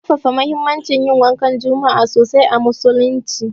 An ƙarfafa muhimmancin yin wankan juma'a sosai a musulunci.